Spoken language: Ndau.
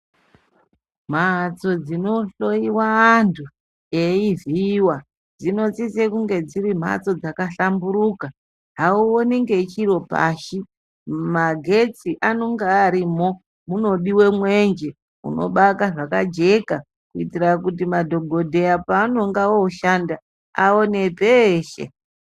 Mhatso dzinohloyiwa antu eivhiiwa dzinosise kunge dziri mbatso dzakahlamburuka auoni ngechiro pashi magetsi anenge arimwo munodiwe mwenje unobaka zvakajeka kuitira kuti madhokodheya paanenge oshanda aone teshe.